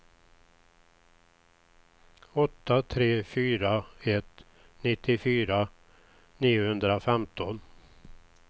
åtta tre fyra ett nittiofyra niohundrafemton